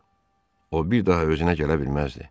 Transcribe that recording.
O bir daha özünə gələ bilməzdi.